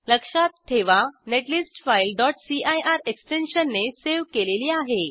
लक्षात ठेवा net list file cir एक्सटेंशनने सेव केलेली आहे